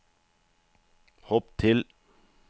hopp til